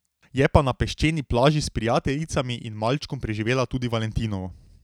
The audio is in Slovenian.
Je pa na peščeni plaži s prijateljicami in malčkom preživela tudi valentinovo.